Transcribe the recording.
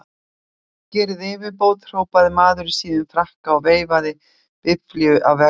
Gerið yfirbót! hrópaði maður í síðum frakka og veifaði biflíu að vegfarendum.